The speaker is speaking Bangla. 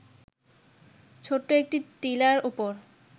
ছোট্ট একটি টিলার উপর